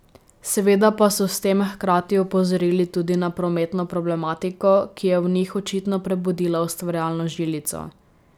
Seveda pa so s tem hkrati opozorili tudi na prometno problematiko, ki je v njih očitno prebudila ustvarjalno žilico.